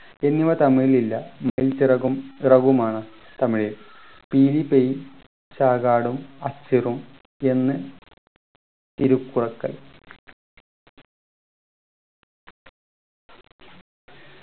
എന്നിവ തമിഴിൽ ഇല്ല മയിൽ ചിറകും റകുമാണ് തമിഴിൽ പീലി പെയ് എന്ന്